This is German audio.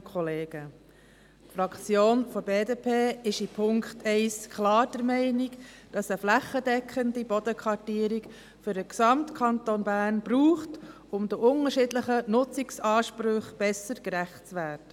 Die Fraktion der BDP ist beim Punkt 1 klar der Meinung, dass es eine flächendeckende Bodenkartierung für den gesamten Kanton Bern braucht, um den unterschiedlichen Nutzungsansprüchen besser gerecht zu werden.